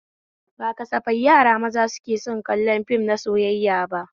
Ba kasafai yara maza ke son kallon fim na soyayya ba